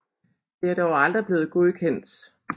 Det er dog aldrig blevet godkendt